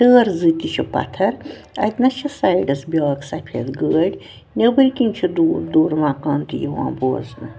ٹٲر زٕ تہِ چھ پتھر اَتہِ نس چھ سایڈس بیٛاکھ سفید گٲڑۍ نیٚبٕرۍکِنۍ چھ دوٗر دوٗر مکان تہِ یِوان بوزنہٕ